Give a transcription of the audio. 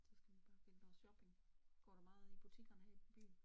Så skal man bare finde på shopping. Går du meget i butikkerne her i byen?